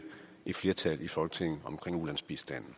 et flertal i folketinget om ulandsbistanden